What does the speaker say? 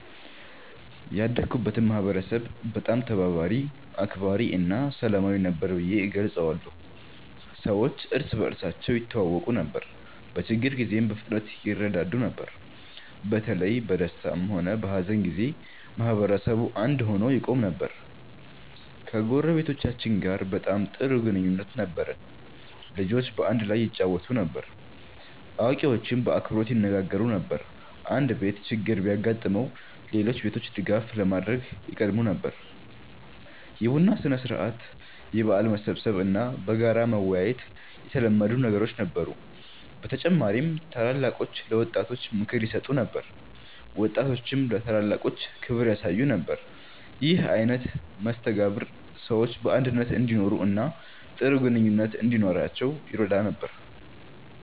ያደግኩበትን ማህበረሰብ በጣም ተባባሪ፣ አክባሪ እና ሰላማዊ ነበር ብዬ እገልጸዋለሁ። ሰዎች እርስ በርሳቸው ይተዋወቁ ነበር፣ በችግር ጊዜም በፍጥነት ይረዳዱ ነበር። በተለይ በደስታም ሆነ በሀዘን ጊዜ ማህበረሰቡ አንድ ሆኖ ይቆም ነበር። ከጎረቤቶቻችን ጋር በጣም ጥሩ ግንኙነት ነበረን። ልጆች በአንድ ላይ ይጫወቱ ነበር፣ አዋቂዎችም በአክብሮት ይነጋገሩ ነበር። አንድ ቤት ችግር ቢያጋጥመው ሌሎች ቤቶች ድጋፍ ለማድረግ ይቀድሙ ነበር። የቡና ሥነ-ሥርዓት፣ የበዓል መሰብሰብ እና በጋራ መወያየት የተለመዱ ነገሮች ነበሩ። በተጨማሪም ታላላቆች ለወጣቶች ምክር ይሰጡ ነበር፣ ወጣቶችም ለታላላቆች ክብር ያሳዩ ነበር። ይህ አይነት መስተጋብር ሰዎች በአንድነት እንዲኖሩ እና ጥሩ ግንኙነት እንዲኖራቸው ይረዳ ነበር።